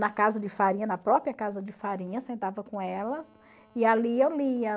Na casa de farinha, na própria casa de farinha, sentava com elas e ali eu lia.